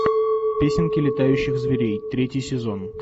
песенки летающих зверей третий сезон